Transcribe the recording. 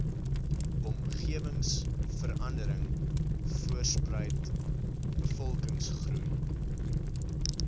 omgewingsverandering voortspruit bevolkingsgroei